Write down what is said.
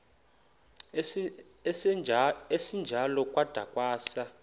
esinjalo kwada kwasa